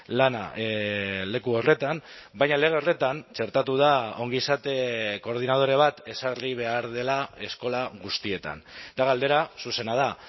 lana leku horretan baina lege horretan txertatu da ongizate koordinadore bat ezarri behar dela eskola guztietan eta galdera zuzena da